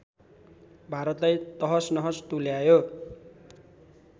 भारतलाई तहसनहस तुल्यायो